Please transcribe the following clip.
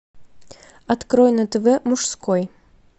открой на тв мужской